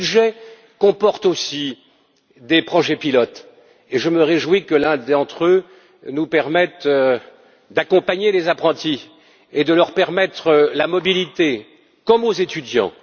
Ce budget comporte aussi des projets pilotes et je me réjouis que l'un d'entre eux nous donne la possibilité d'accompagner les apprentis et de leur permettre la mobilité comme aux étudiants.